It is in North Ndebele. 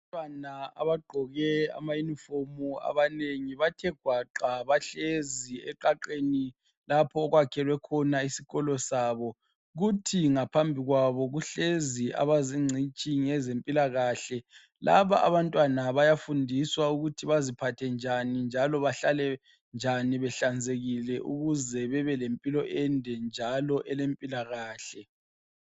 Abantwana abagqoke amayunifomu abanengi bathe gwaqa bahlezi eqaqeni lapho okwakhelwe khona isikolo sabo, kuthi ngaphambi kwabo kuhlezi abazingcitshi ngezempilakahle, laba abantwana bayafundiswa ukuthi baziphathe njani, njalo behlale njani behlanzekile ukuze bebe lempilo ende njalo elempilakahle.